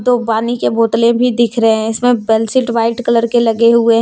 दो पानी के बोतले भी दिख रहे हैं इसमें बेलशीट वाइट कलर के लगे हुए हैं।